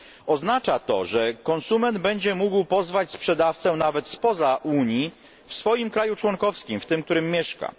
pracę. Oznacza to, że konsument będzie mógł pozwać sprzedawcę nawet spoza Unii w swoim kraju członkowskim, w tym, w którym mieszka.